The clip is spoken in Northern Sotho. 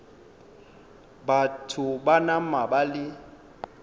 batho ba nama ba le